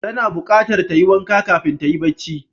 Tana buqatar tayi wanka kafin tayi bacci